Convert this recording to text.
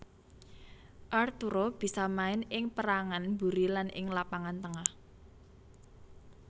Arturo bisa main ing pérangan mburi lan ing lapangan tengah